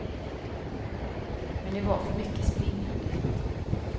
Men det var för mycket springande.